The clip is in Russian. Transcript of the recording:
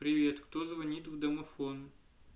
привет кто звонит в домофон